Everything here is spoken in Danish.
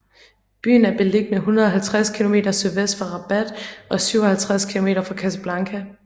Byen er beliggende 150 km sydvest for Rabat og 57 km fra Casablanca